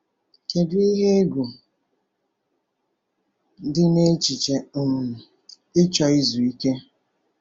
Kedu ihe egwu dị n’echiche um ịchọ izu ike?